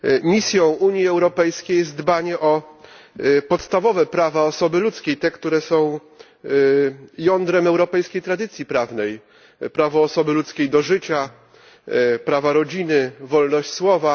Misją Unii Europejskiej jest dbanie o podstawowe prawa osoby ludzkiej, te, które są jądrem europejskiej tradycji prawnej prawo osoby ludzkiej do życia, prawo rodziny, wolność słowa.